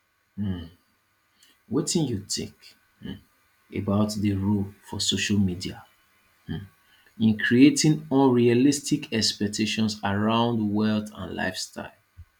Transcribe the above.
um wetin you think um about di role of social media um in creating unrealistic expectations around wealth and lifestyle